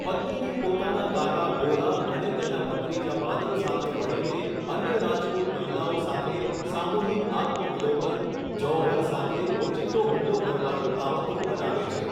પદ્મિની પોતાના કાકા ગોરા અને તેના ભત્રીજા બાદલ સાથે મળીને અન્ય રાજપૂત મહિલાઓ સાથે સામુહિક આત્મવિલોપન, જૌહર સાથે ઓચિંતો હુમલો કરવાનું કાવતરું બનાવે છે.